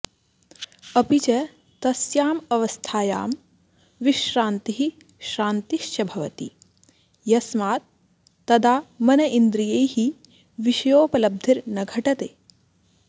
अपि च तस्यामवस्थायां विश्रान्तिः शान्तिश्च भवति यस्मात् तदा मनइन्द्रियैः विषयोपलब्धिर्न घटते